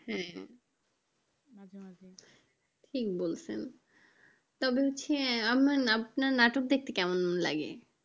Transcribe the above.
হ্যাঁ ঠিক বলছেন, তবে হচ্ছে আমার আপনার নাটক দেখতে কেমন লাগে?